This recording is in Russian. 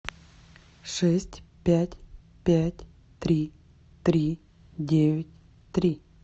шесть пять пять три три девять три